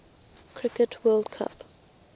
cricket world cup